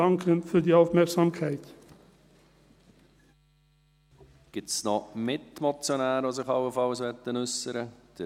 Gibt es noch Mitmotionäre, die sich allenfalls äussern möchten?